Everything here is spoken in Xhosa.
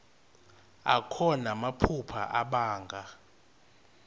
akho namaphupha abanga